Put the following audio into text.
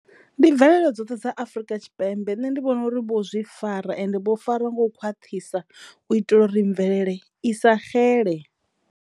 Ndi bvelele dzoṱhe dza Afurika Tshipembe nṋe ndi vhona uri vho zwi fara ende vho fara ngo u khwaṱhisa u itela u ri mvelele i sa xele.